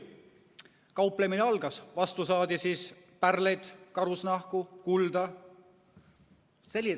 Kauplemine algas, vastu saadi pärleid, karusnahku, kulda.